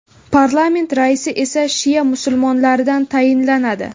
Parlament raisi esa shia musulmonlaridan tayinlanadi.